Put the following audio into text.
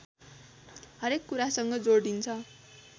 हरेक कुरासँग जोडिन्छ